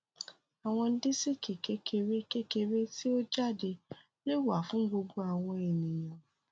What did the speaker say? awọn disiki kekere kekere ti o jade le wa fun gbogbo awọn eniyan